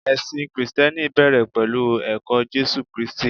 ẹsìn Kristẹni bẹrẹ pẹlu ẹkọ Jésù kristi